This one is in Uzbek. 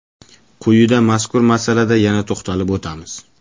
Quyida mazkur masalada yana to‘xtalib o‘tamiz.